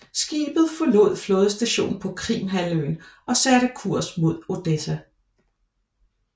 Skibet forlod flådestationen på Krimhalvøen og satte kurs mod Odessa